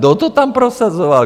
Kdo to tam prosazoval?